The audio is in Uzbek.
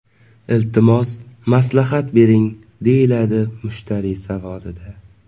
Iltimos maslahat bering”, deyiladi mushtariy savolida.